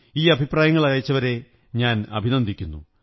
ഈ അഭിപ്രായങ്ങൾ അയച്ചവരെ ഞാൻ അഭിനന്ദിക്കുന്നു